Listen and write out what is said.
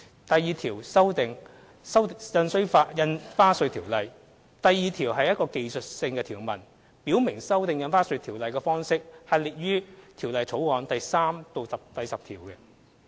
第2條─修訂《印花稅條例》第2條為技術性條文，表明修訂《印花稅條例》的方式列於《條例草案》第3至10條。